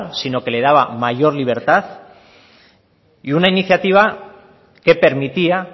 sino que le daba mayor libertad y una iniciativa que permitía